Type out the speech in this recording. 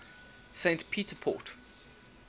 st peter port